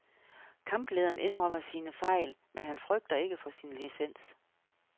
Kamplederen indrømmer sin fejl, men han frygter ikke for sin licens.